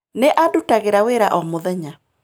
Nĩ andutagĩra wĩra o mũthenya.